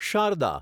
Sharda